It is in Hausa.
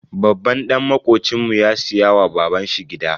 Babban dan makocinmu ya siya wa baban shi gida.